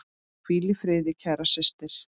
Hvíl í friði, kæra systir.